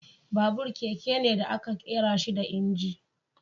Babur, keke ne da aka ƙera shi da inji.